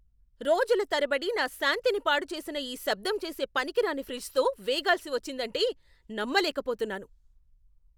రోజుల తరబడి నా శాంతిని పాడు చేసిన ఈ శబ్దం చేసే పనికిరాని ఫ్రిజ్తో వేగాల్సి వచ్చిందంటే నమ్మలేకపోతున్నాను!